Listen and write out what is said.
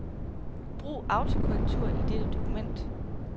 Brug autokorrektur i dette dokument.